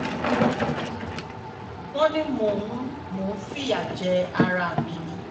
wọ́n ní mò ń mò ń fìyà jẹ ara ẹ̀ mi ni